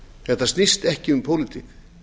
þetta snýst ekki um pólitík